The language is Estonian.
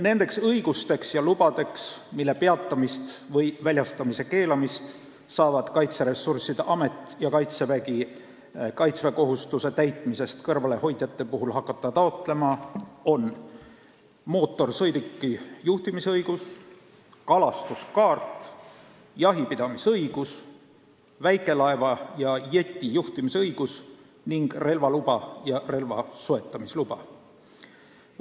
Nendeks õigusteks ja lubadeks, mille peatamist või väljastamise keelamist saavad Kaitseressursside Amet ja Kaitsevägi hakata kaitseväekohustuse täitmisest kõrvale hoidjate puhul taotlema, on mootorsõiduki juhtimisõigus, kalastuskaart, jahipidamisõigus, väikelaeva ja jeti juhtimisõigus ning relvaluba ja relva soetamisluba.